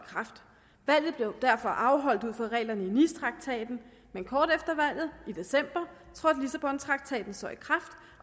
valget blev derfor afholdt ud fra reglerne i nicetraktaten men kort efter valget i december trådte lissabontraktaten så i kraft